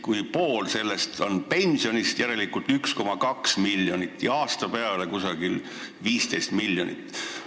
Kui pool sellest tuleb pensionidest, siis järelikult jääb 1,2 miljonit, aasta peale kusagil 15 miljonit.